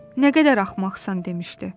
Nə qədər axmaqsan demişdi.